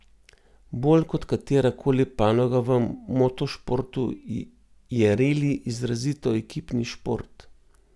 Bolj kot katera koli panoga v motošportu je reli izrazito ekipni šport.